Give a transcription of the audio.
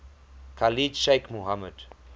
khalid sheikh mohammed